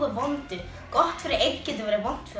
vondu gott fyrir einn getur verið vont